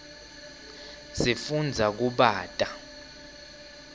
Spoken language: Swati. sifundza kubata